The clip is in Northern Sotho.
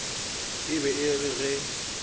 e be e re ge